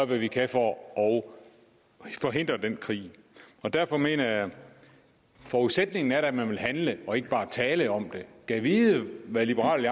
hvad vi kan for at forhindre den krig derfor mener jeg at forudsætningen da er at man vil handle og ikke bare tale om det gad vide hvad liberal